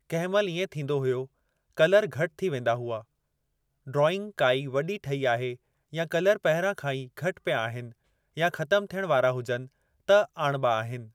कंहिं महिल इएं थींदो हुयो कलर घटि थी वेंदा हुआ। ड्रॉइंग काई वॾी ठही आहे या कलर पहिरियों खां ई घटि पिया आहिनि या ख़तम थियण वारा हुजनि त आणिबा आहिनि।